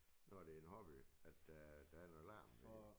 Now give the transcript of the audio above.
Når det en hobby at der der er noget larm